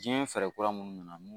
Diɲɛ fɛɛrɛ kura minnu nana